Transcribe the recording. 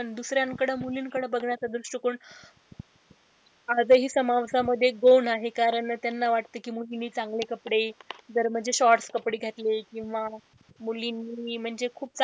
दुसऱ्यांकडं मुलींकडे बघण्याचा दृष्टिकोन आज हि समाजामध्ये दोन आहे कारण त्यांना वाटत कि मुलींनी चांगले कपडे जर म्हणजे shorts कपडे घातले किंवा मुलींनी म्हणजे खूप चांगले,